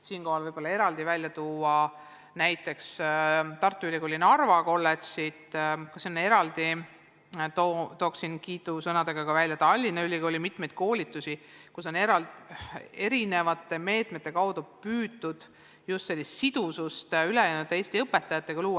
Siinkohal võib näiteks tuua Tartu Ülikooli Narva Kolledži, samuti tooksin kiidusõnadega esile Tallinna Ülikooli mitmeid koolitusi, kus on teatud meetmete kaudu püütud luua just sidusust Eesti ülejäänud õpetajatega.